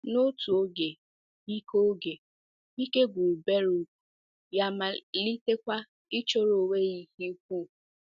N’otu oge, ike oge, ike gwụrụ Beruk, ya amalitekwa ịchọrọ onwe ya ihe ukwu.